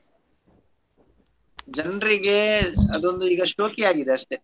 ಜನ್ರಿಗೆ ಅದೊಂದು ಈಗ ಶೋಕಿಯಾಗಿದೆ ಅಷ್ಟೇ.